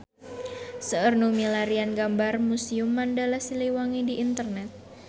Seueur nu milarian gambar Museum Mandala Siliwangi di internet